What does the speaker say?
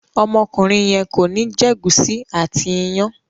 Ọmọkùnrin yen kọ ní jé gusi àti iyán.